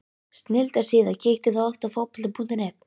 Snilldar síða Kíkir þú oft á Fótbolti.net?